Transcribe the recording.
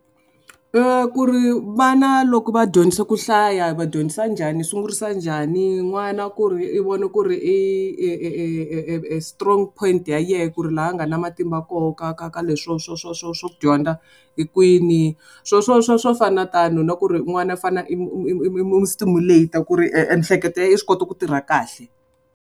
I ku ri vana loko va dyondzisa ku hlaya hi va dyondzisa njhani sungurisa njhani, n'wana ku ri i vone ku ri e strong point ya yehe ku ri laha a nga na matimba koho ka ka ka leswo swo swo swo swo swa ku dyondza hi kwini swo swo swo swo fana na tano na ku ri n'wana u fanele stimulate ku ri emihleketo ya yi swi kota ku tirha kahle.